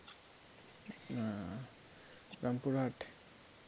Rampurhat